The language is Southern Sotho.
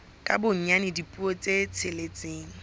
ka bonyane dipuo tse tsheletseng